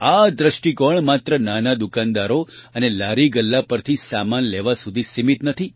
આ દ્રષ્ટિકોણ માત્ર નાના દુકાનદારો અને લારીગલ્લા પરથી સામાન લેવા સુધી સીમીત નથી